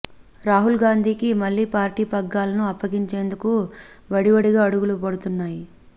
రాహుల్ గాంధీకి మళ్లీ పార్టీ పగ్గాలను అప్పగించేందుకు వడివడిగా అడుగులు పడుతున్నాయి